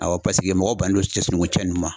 Awɔ paseke mɔgɔ bannen no cɛ sununkun cɛ ninnu ma.